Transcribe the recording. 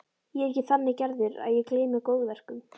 Ég er ekki þannig gerður að ég gleymi góðverkum.